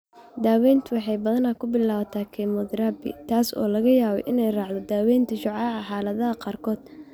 Daaweyntu waxay badanaa ku bilaabataa kemotherabi, taas oo laga yaabo inay raacdo daaweynta shucaaca xaaladaha qaarkood.